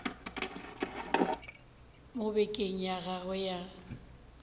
mo bekeng ya gagwe ya